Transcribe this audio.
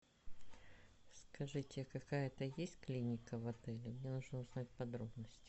скажите какая то есть клиника в отеле мне нужно узнать подробности